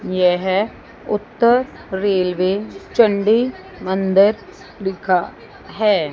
यह उत्तर रेलवे चंडी मंदिर लिखा है।